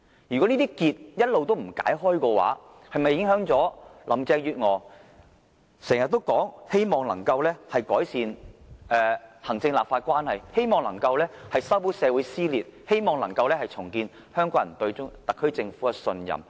如果這些結一直不解，是否影響林鄭月娥經常說的工作目標，即希望能夠改善行政立法關係，希望能夠修補社會撕裂，希望能夠重建香港人對特區政府的信任？